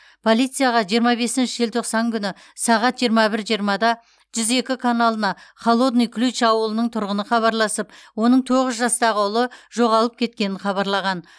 полицияға жиырма бесінші желтоқсан күні сағат жиырма бір жиырмада жүз екі каналына холодный ключ ауылының тұрғыны хабарласып оның тоғыз жастағы ұлы жоғалып кеткенін хабарлаған